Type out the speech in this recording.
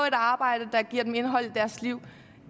et arbejde der giver dem indhold i deres liv